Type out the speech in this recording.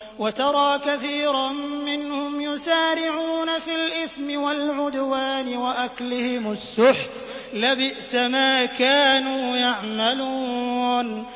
وَتَرَىٰ كَثِيرًا مِّنْهُمْ يُسَارِعُونَ فِي الْإِثْمِ وَالْعُدْوَانِ وَأَكْلِهِمُ السُّحْتَ ۚ لَبِئْسَ مَا كَانُوا يَعْمَلُونَ